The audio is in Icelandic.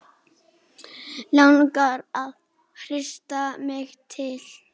Langar að hrista mig til.